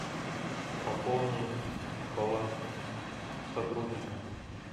пополни баланс сотрудника